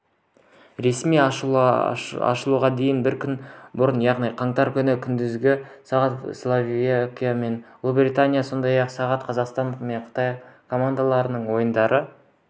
ресми ашылуға дейін бір күн бұрын яғни қаңтар күні күндізгі сағат словакия мен ұлыбритания сондай-ақ сағат қазақстан мен қытай командаларының ойындары